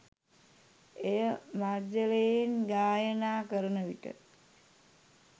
එය මධ්‍යලයෙන් ගායනා කරන විට